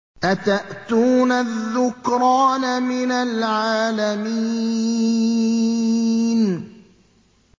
أَتَأْتُونَ الذُّكْرَانَ مِنَ الْعَالَمِينَ